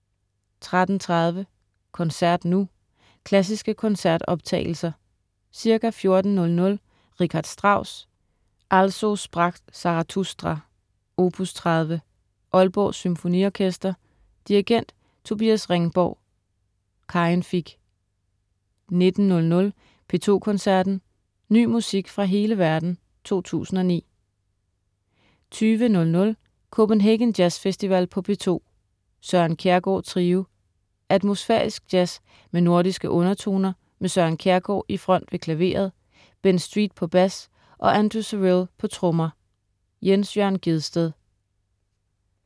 13.03 Koncert nu. Klassiske koncertoptagelser. Ca. 14.00 Richard Strauss: Also sprach Zarathustra, opus 30. Aalborg Symfoniorkester. Dirigent: Tobias Ringborg. Karin Fich 19.00 P2 Koncerten. Ny musik fra hele verden 2009 20.00 Copenhagen Jazz Festival på P2. Søren Kjærgaard Trio. Atmosfærisk jazz med nordiske undertoner med Søren Kjærgaard i front ved klaveret, Ben Street på bas og Andrew Cyrille på trommer. Jens Jørn Gjedsted